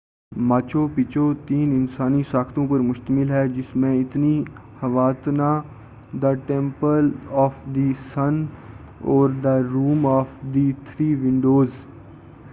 Machu Picchu تین انسانی ساختوں پر مُشتمل ہے جس میں Intihuatana the temple of the sun اور the room of the three Windows